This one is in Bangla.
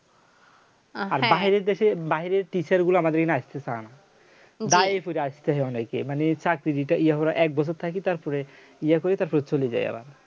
আর বাইরে দেশে বাহিরের teacher গুলো আমাদের এখানে আসতে ছাড়ে না গায়ে পড়ে আসতো অনেকই মানে চাকরি দিতে হলো এক বছর থাকে তারপরে ইয়ে করে তারপরে চলে যায় আবার